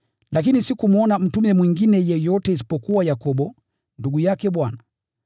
Lakini sikumwona mtume mwingine yeyote isipokuwa Yakobo, ndugu yake Bwana.